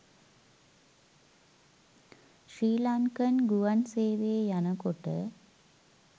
ශ්‍රී Lankan ගුවන් සේවයේ යනකොට